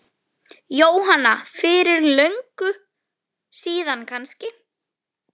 Jóhanna: Fyrir löngu síðan kannski?